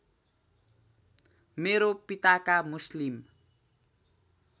मेरो पिताका मुस्लिम